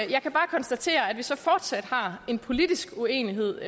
jeg kan bare konstatere at vi så fortsat har en politisk uenighed